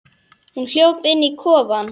Hún hljóp inn í kofann.